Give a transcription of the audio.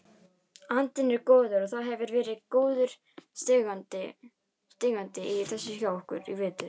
Andinn er góður og það hefur verið góður stígandi í þessu hjá okkur í vetur.